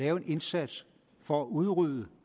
en indsats for at udrydde